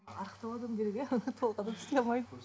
арықтау адам керек иә толық адам істей алмайды